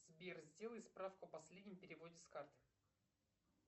сбер сделай справку о последнем переводе с карты